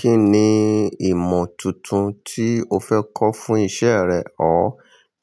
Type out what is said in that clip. Kínni ìmọ̀ tuntun tí o fẹ́ kọ́ fún iṣẹ́ rẹ or?